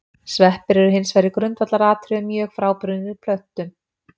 Sveppir eru hins vegar í grundvallaratriðum mjög frábrugðnir plöntum.